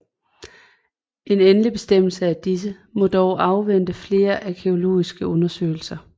En endelig bestemmelse af disse må dog afvente flere arkæologiske undersøgelser